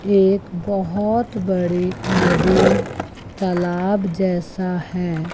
एक बहोत बड़े नदी तलाब जैसा है।